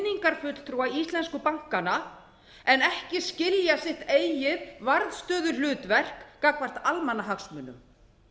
eða kynningarfulltrúa íslensku bankanna en ekki skilja sitt eigið varðstöðuhlutverk gagnvart almannahagsmunum